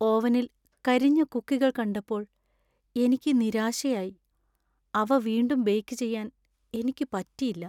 ഓവനിൽ കരിഞ്ഞ കുക്കികൾ കണ്ടപ്പോൾ എനിക്ക് നിരാശയായി . അവ വീണ്ടും ബേക്ക് ചെയ്യാൻ എനിക്ക് പറ്റിയില്ല .